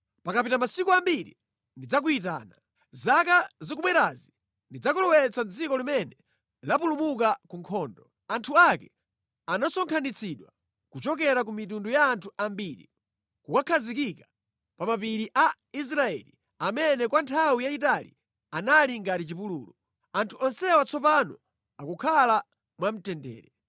Pakapita masiku ambiri ndidzakuyitana. Zaka zikubwerazi ndidzakulowetsa mʼdziko limene lapulumuka ku nkhondo. Anthu ake anasonkhanitsidwa kuchokera ku mitundu ya anthu ambiri nʼkukakhazikika pa mapiri a Israeli amene kwa nthawi yayitali anali ngati chipululu. Anthu onsewa tsopano akukhala mwa mtendere.